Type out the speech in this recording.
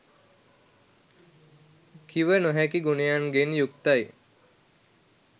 කිව නොහැකි ගුණයන්ගෙන් යුක්තයි